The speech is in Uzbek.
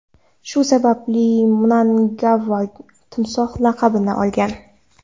Shu sababli Mnangagva Timsoh laqabini olgan.